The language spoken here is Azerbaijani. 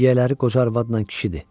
Yiyələri qoca arvadla kişidir.